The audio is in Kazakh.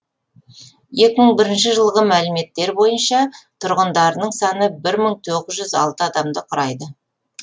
екі мың бірінші жылғы мәліметтер бойынша тұрғындарының саны бір мың тоғыз жүз алты адамды құрайды